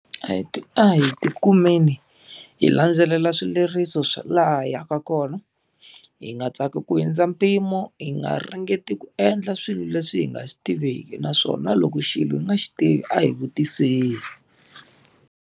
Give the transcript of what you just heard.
A hi ti a ti kumeni hi landzelela swileriso swa laha hi yaka kona, hi nga tsaki ku hundza mpimo, hi nga ringeti ku endla swilo leswi hi nga swi tiveki naswona loko xilo xi nga xi tivi a hi vutiseni.